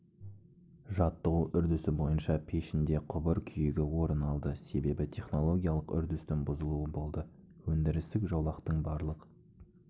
жаттығу үрдісі бойынша пешінде құбыр күйігі орын алды себебі технологиялық үрдістің бұзылуы болды өндірістік жолақтың барлық